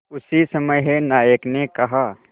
उसी समय नायक ने कहा